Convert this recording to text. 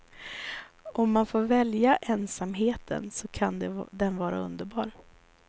Om man får välja ensamheten så kan den vara underbar.